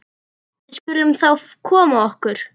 Við skulum þá koma okkur.